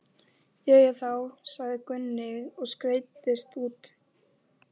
Jæja þá, sagði Gunni og skreiddist út.